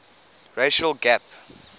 racial gap